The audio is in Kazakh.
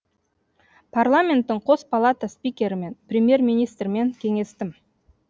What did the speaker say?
парламенттің қос палата спикерімен премьер министрмен кеңестім